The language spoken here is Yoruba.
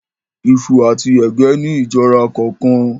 Iṣu àti ẹ̀gẹ́ ni ìjọra kọọkan